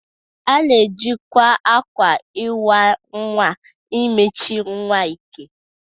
A na-ejikwa akwa iwa nwa emechi nwa ike.